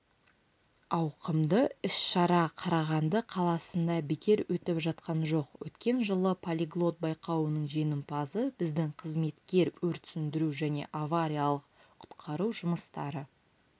ауқымды іс-шара қарағанды қаласында бекер өтіп жатқан жоқ өткен жылы полиглот байқауының жеңімпазы біздің қызметкер өрт сөндіру және авариялық құтқару жұмыстары